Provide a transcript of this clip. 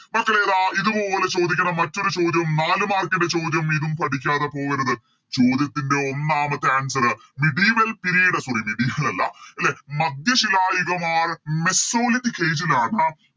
മക്കളെ ഇതാ ഇതുപോലെ ചോദിക്കണ മറ്റൊരു ചോദ്യം നാലു Mark ൻറെ ചോദ്യം ഇതും പഠിക്കാതെ പോകരുത് ചോദ്യത്തിൻറെ ഒന്നാമത്തെ Answer medieval period sorry medieval അല്ല ലെ മധ്യശിലായുഗമാണ് or Mesoliphic age ലാണ്